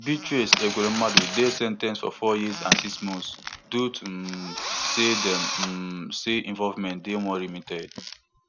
beatrice ekweremadu dey sen ten ced for four years and six months due to um say dem um say involvement dey more limited